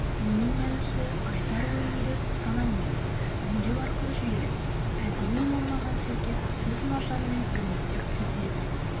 мұның мәнісі айтар ойыңды санаңмен өңдеу арқылы жүйелеп әдеби нормаға сәйкес сөз маржанымен өрнектеп тізе білу